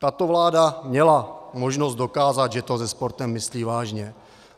Tato vláda měla možnost dokázat, že to se sportem myslí vážně.